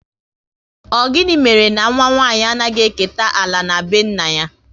Ọ gịnị mere na nwa nwanyị anaghị eketa ala na be nna ya?